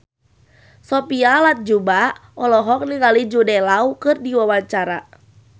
Sophia Latjuba olohok ningali Jude Law keur diwawancara